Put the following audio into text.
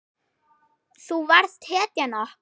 Þú varst hetjan okkar.